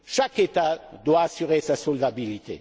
Chaque État doit assurer sa solvabilité.